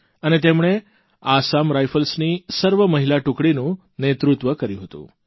અને તેમણે આસામ રાઇફલ્સની સર્વમહિલા ટુકડીનું નેતૃત્વ કર્યું હતું